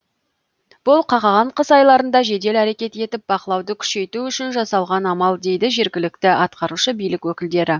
бұл қақаған қыс айларында жедел әрекет етіп бақылауды күшейту үшін жасалған амал дейді жергілікті атқарушы билік өкілдері